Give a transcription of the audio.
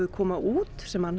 koma út sem